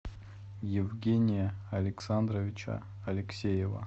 евгения александровича алексеева